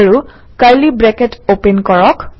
আৰু curly bracket open কৰক